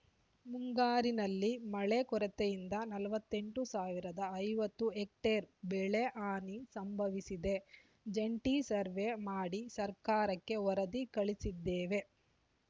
ಮುಂಗಾರಿನಲ್ಲಿ ಮಳೆ ಕೊರತೆಯಿಂದ ನಲವತ್ತ್ ಎಂಟ್ ಸಾವಿರದ ಐವತ್ತು ಹೆಕ್ಟರ್‌ ಬೆಳೆ ಹಾನಿ ಸಂಭವಿಸಿದೆ ಜಂಟಿ ಸರ್ವೆ ಮಾಡಿ ಸರ್ಕಾರಕ್ಕೆ ವರದಿ ಕಳಿಸಿದ್ದೇವೆ